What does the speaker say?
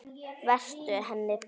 Vertu henni blíður.